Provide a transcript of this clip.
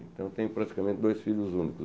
Então tenho praticamente dois filhos únicos.